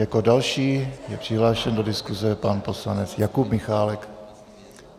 Jako další je přihlášen do diskuse pan poslanec Jakub Michálek.